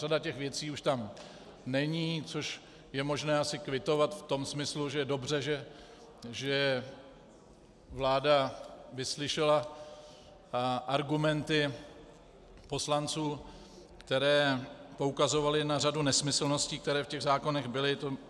Řada těch věcí už tam není, což je možné asi kvitovat v tom smyslu, že je dobře, že vláda vyslyšela argumenty poslanců, které poukazovaly na řadu nesmyslností, které v těch zákonech byly.